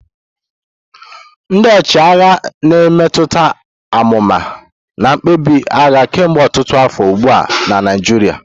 Ndị ọchịagha na-emetụta amụma na mkpebi ndị agha kemgbe ọtụtụ afọ ugbu a na Naijiria.